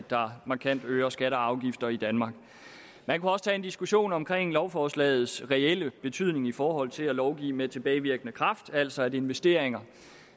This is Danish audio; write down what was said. der markant øger skatter og afgifter i danmark man kunne også tage en diskussion om lovforslagets reelle betydning i forhold til at lovgive med tilbagevirkende kraft altså at investeringer